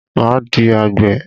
Máa di àgbè.